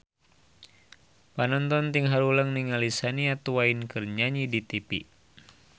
Panonton ting haruleng ningali Shania Twain keur nyanyi di tipi